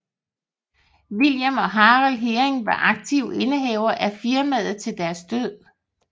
William og Harald Heering var aktive indehavere af firmaet til deres død